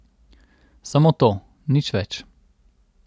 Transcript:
Samo to, nič več.